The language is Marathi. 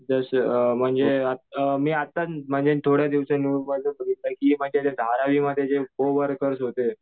जसं अ म्हणजे अ मी आत्ता म्हणजे थोडे धारावीमध्ये कोवर्कर्स होते.